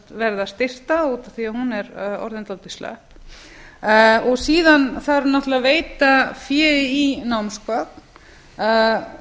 verða styrkta út af því að hún er orðin dálítið slöpp síðan þarf náttúrlega að veita fé í námsgögn það